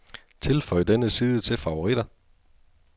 Tilføj denne side til favoritter.